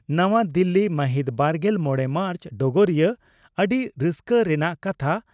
ᱱᱟᱣᱟ ᱫᱤᱞᱤ ᱢᱟᱹᱦᱤᱛᱵᱟᱨᱜᱮᱞ ᱢᱚᱲᱮ ᱢᱟᱨᱪ (ᱰᱚᱜᱚᱨᱤᱭᱟᱹ) ᱺ ᱟᱹᱰᱤ ᱨᱟᱹᱥᱠᱟᱹ ᱨᱮᱱᱟᱜ ᱠᱟᱛᱷᱟ